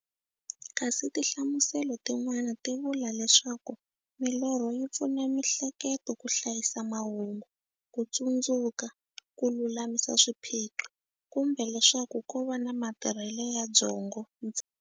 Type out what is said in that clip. Kasi tinhlamuselo tin'wana ti vula leswaku milorho yi pfuna miehleketo ka hlayisa mahungu, kutsundzuka, kululamisa swiphiqo, kumbe leswaku kova matirhele ya byongo ntsena.